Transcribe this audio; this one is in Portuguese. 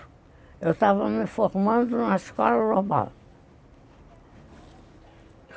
Eu estava me formando numa escola global.